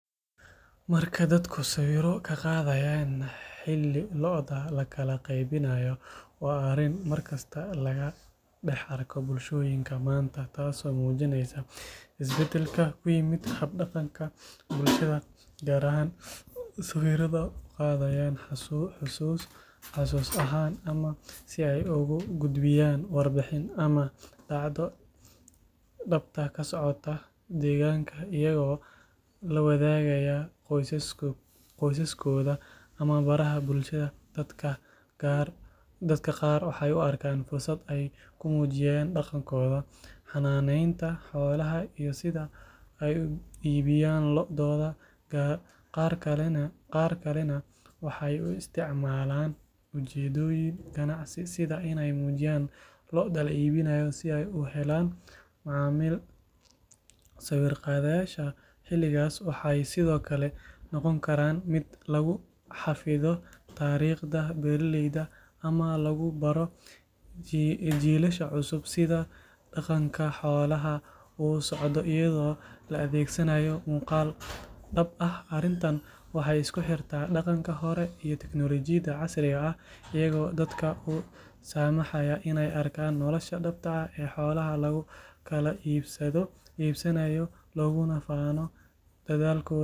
Marka dadku sawirro ka qaadayaan xilli lo’da la kala qaybinayo waa arrin markasta laga dhex arko bulshooyinka maanta taasoo muujinaysa isbeddelka ku yimid hab-dhaqanka bulshada qaar waxay sawirrada u qaadayaan xusuus ahaan ama si ay ugu gudbiyaan warbixin ama dhacdo dhabta ka socota deegaanka iyagoo la wadaagaya qoysaskooda ama baraha bulshada dadka qaar waxay u arkaan fursad ay ku muujinayaan dhaqankooda xanaaneynta xoolaha iyo sida ay u iibiyaan lo’dooda qaar kalena waxay u isticmaalaan ujeeddooyin ganacsi sida inay muujiyaan lo’da la iibinayo si ay u helaan macaamiil sawir qaadashada xilligaas waxay sidoo kale noqon kartaa mid lagu xafido taariikhda beeraleyda ama lagu baro jiilasha cusub sida dhaqanka xoolaha uu u socdo iyadoo la adeegsanayo muuqaal dhab ah arrintan waxay isku xirtaa dhaqanka hore iyo tiknoolajiyadda casriga ah iyadoo dadka u saamaxaysa inay arkaan nolosha dhabta ah ee xoolaha lagu kala iibsanayo looguna faano dadaalkooda.